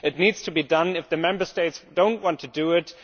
This needs to be done if the Member States do not want to do it.